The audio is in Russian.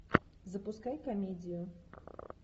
запускай комедию